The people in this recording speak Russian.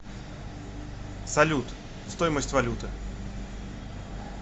салют стоимость валюты